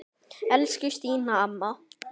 Elsku Stína amma.